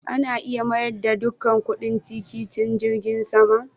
Ana iya mayar da duka kudin tikitin jirgin sama?